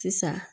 Sisan